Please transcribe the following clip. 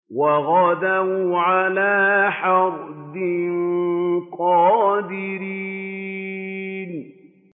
وَغَدَوْا عَلَىٰ حَرْدٍ قَادِرِينَ